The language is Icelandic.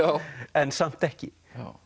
en samt ekki